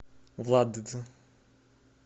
владд